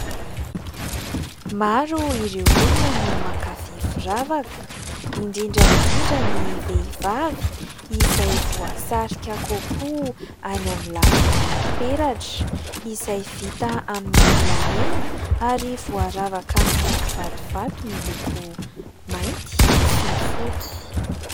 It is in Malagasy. Maro ireo olona no mankafy firavaka, indrindra indrindra ny vehivavy, izay voasarika kokoa any amin'ny lafin'ny peratra izay vita amin'ny volamena ary voaravaka amin'ny kivatovato miloko mainty sy fotsy.